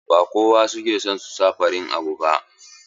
Ba kowa ke son sa farin abu ba.